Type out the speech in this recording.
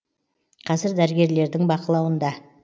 қазір дәрігерлердің бақылауында